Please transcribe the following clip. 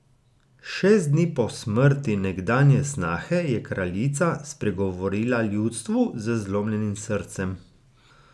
Šest dni po smrti nekdanje snahe je kraljica spregovorila ljudstvu z zlomljenim srcem.